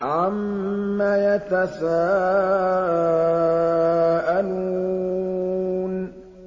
عَمَّ يَتَسَاءَلُونَ